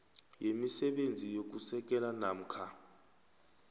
yemisebenzi yokusekela namkha